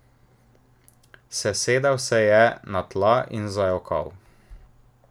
Sesedel se je na tla in zajokal.